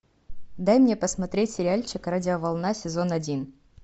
дай мне посмотреть сериальчик радиоволна сезон один